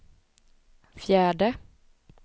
fjärde